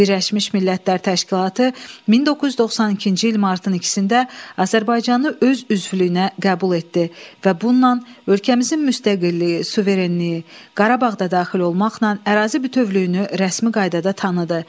Birləşmiş Millətlər Təşkilatı 1992-ci il martın 2-də Azərbaycanı öz üzvlüyünə qəbul etdi və bununla ölkəmizin müstəqilliyi, suverenliyi, Qarabağ da daxil olmaqla ərazi bütövlüyünü rəsmi qaydada tanıdı.